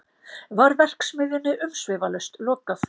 Var verksmiðjunni umsvifalaust lokað